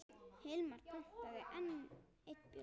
Hilmar pantaði enn einn bjór.